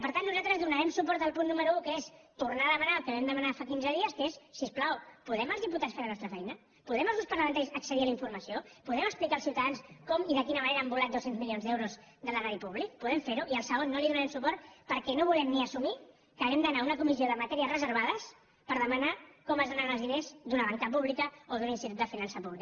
per tant nosaltres donarem suport al punt número un que és tornar a demanar el que vam demanar fa quinze dies que és si us plau podem els diputats fer la nostra feina podem els grups parlamentaris accedir a la informació podem explicar als ciutadans com i de quina manera han volat dos cents milions d’euros de l’erari públic podem fer ho i al segon no li donarem suport perquè no volem ni assumir que hàgim d’anar a una comissió de matèries reservades per demanar com es donen els diners d’una banca pública o d’un institut de finances públic